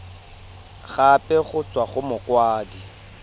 gape go tswa go mokwadise